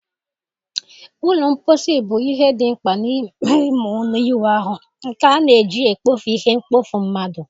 Ụlọ mposi bụ ihe dị mkpa n'ime ime ụlọ ịwụ ahụ, nke a na-eji ekpofu ihe mkpofu mmadụ